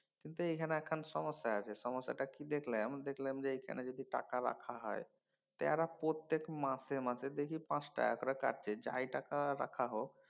কিন্তু এইখানে একখান সমস্যা আছে। সমস্যাটা কি দেখলাম দেখলাম যে এইখানে যদি টাকা রাখা হয় তেরা প্রত্যেক মাসে মাসে দেখি পাঁচ টাকা করে কাটে যাই টাকা রাখা হোক